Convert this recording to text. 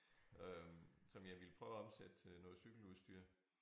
Øh som jeg ville prøve at omsætte til noget cykeludstyr